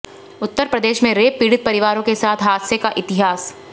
उत्तर प्रदेश में रेप पीड़ित परिवारों के साथ हादसे का इतिहास